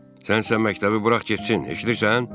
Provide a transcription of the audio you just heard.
Sən sən məktəbi burax getsin, eşidirsən?